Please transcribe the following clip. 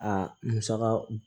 Aa musaka